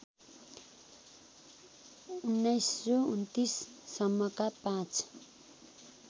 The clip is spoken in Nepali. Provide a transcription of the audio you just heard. १९२९ सम्मका पाँच